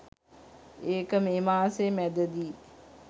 ඒක මේ මාසේ මැදදී.